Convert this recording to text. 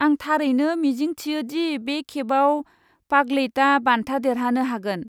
आं थारैनो मिजिं थियो दि बे खेबाव पागलैतआ बान्था देरहानो हागोन।